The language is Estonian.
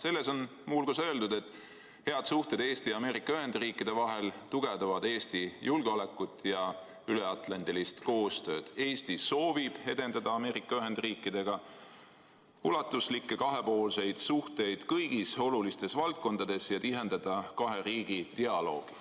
Selles on muu hulgas öeldud, et head suhted Eesti ja Ameerika Ühendriikide vahel tugevdavad Eesti julgeolekut ja üleatlandilist koostööd ning et Eesti soovib edendada Ameerika Ühendriikidega ulatuslikke kahepoolseid suhteid kõigis olulistes valdkondades ja tihendada kahe riigi dialoogi.